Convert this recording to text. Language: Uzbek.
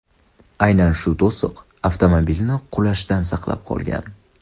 Aynan shu to‘siq avtomobilni qulashdan asrab qolgan.